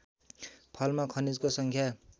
फलमा खनिजको सङ्ख्या